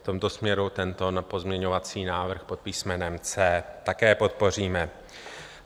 V tomto směru tento pozměňovací návrh pod písmenem C také podpoříme.